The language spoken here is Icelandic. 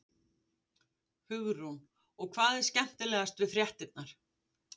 Hugrún: Og hvað er skemmtilegast við fréttirnar?